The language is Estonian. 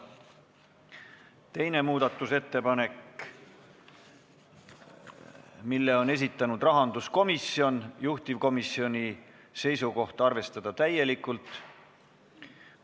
Teise muudatusettepaneku on esitanud rahanduskomisjon, juhtivkomisjoni seisukoht: arvestada täielikult.